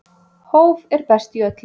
Hóf er best í öllu.